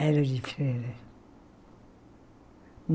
Era de feira.